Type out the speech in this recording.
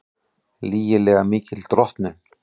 Lygilega mikil drottnun